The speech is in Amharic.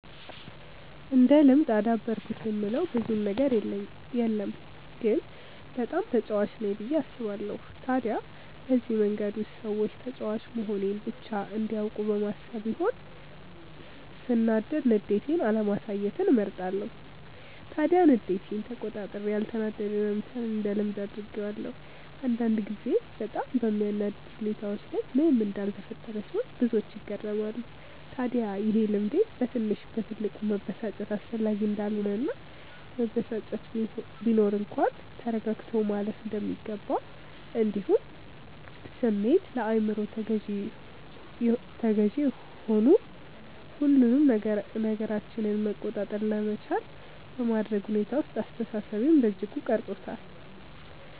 እንደ ልምድ አዳበርኩት የምለው ብዙም ነገር የለም ግን በጣም ተጫዋች ነኝ ብዬ አስባለው። ታዲያ በዚህ መንገድ ውስጥ ሰዎች ተጫዋች መሆኔን ብቻ እንዲያውቁ በማሰብ ይሆን ሰናዳድ ንዴቴን አለማሳየትን እመርጣለው። ታዲያ ንዴቴን ተቆጣጥሬ ያልተናደደ መምሰልን እንደ ልምድ አድርጌዋለው። አንዳንድ ጊዜ በጣም በሚያናድድ ሁኔታዎች ላይ ምንም እንዳልተፈጠረ ስሆን ብዙዎች ይገረማሉ። ታድያ ይሄ ልምዴ በትንሽ በትልቁ መበሳጨት አስፈላጊ እንዳልሆነ እና መበሳጨት ቢኖር እንኳን ተረጋግቶ ማለፍ እንደሚገባ እንዲሁም ስሜት ለአይምሮ ተገዢ ሆኑ ሁሉንም ነገራችንን መቆጣጠር ለመቻል በማድረግ ሁኔታ ውስጥ አስተሳሰቤን በእጅጉ ቀርፆታል።